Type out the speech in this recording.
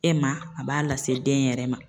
E ma a b'a lase den yɛrɛ ma.